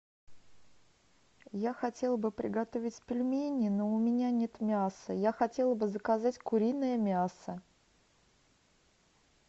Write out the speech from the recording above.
я хотела бы приготовить пельмени но у меня нет мяса я хотела бы заказать куриное мясо